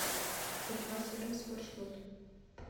уфа сервис маршрут